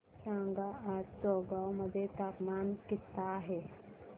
सांगा आज चौगाव मध्ये तापमान किता आहे